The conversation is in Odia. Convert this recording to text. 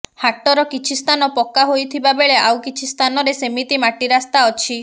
ହାଟର କିଛି ସ୍ଥାନ ପକ୍କା ହୋଇଥିବା ବେଳେ ଆଉ କିଛି ସ୍ଥାନରେ ସେମିତି ମାଟି ରାସ୍ତା ଅଛି